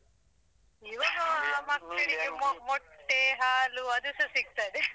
. ಮೊಟ್ಟೆ, ಹಾಲು ಅದುಸ ಸಿಕ್ತದೆ .